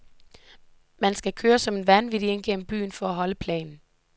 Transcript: Man skal køre som en vanvittig ind gennem byen for at holde planen.